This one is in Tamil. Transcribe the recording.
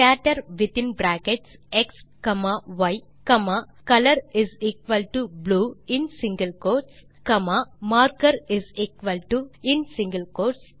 ஸ்கேட்டர் வித்தின் bracket x comma y comma colorblue இன் சிங்கில் கோட்ஸ் காமா marker இன் சிங்கில் கோட்ஸ்